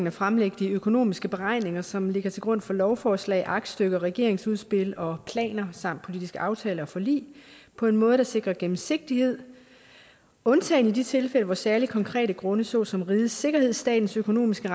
at fremlægge de økonomiske beregninger som ligger til grund for lovforslag aktstykker regeringsudspil og planer samt politiske aftaler og forlig på en måde der sikrer gennemsigtighed undtagen i de tilfælde hvor særlige konkrete grunde såsom rigets sikkerhed statens økonomiske